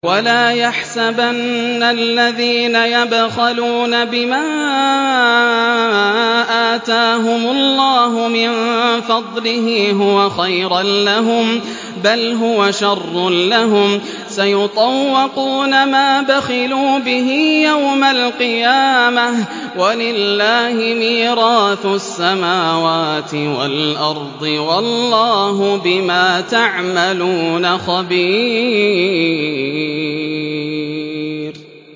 وَلَا يَحْسَبَنَّ الَّذِينَ يَبْخَلُونَ بِمَا آتَاهُمُ اللَّهُ مِن فَضْلِهِ هُوَ خَيْرًا لَّهُم ۖ بَلْ هُوَ شَرٌّ لَّهُمْ ۖ سَيُطَوَّقُونَ مَا بَخِلُوا بِهِ يَوْمَ الْقِيَامَةِ ۗ وَلِلَّهِ مِيرَاثُ السَّمَاوَاتِ وَالْأَرْضِ ۗ وَاللَّهُ بِمَا تَعْمَلُونَ خَبِيرٌ